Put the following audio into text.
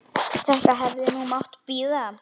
Þetta hefði nú mátt bíða.